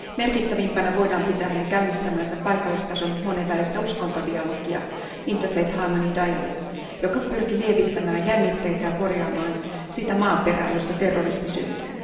Merkittävimpänä voidaan pitää hänen käynnistämäänsä paikallistason monenvälistä uskontodialogia interfaith harmony dialogue, joka pyrki lievittämään jännitteitä ja korjaamaan sitä maaperää, josta terrorismi syntyy.